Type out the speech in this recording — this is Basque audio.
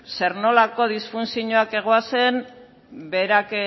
zer nolako disfuntzioak zeuden berak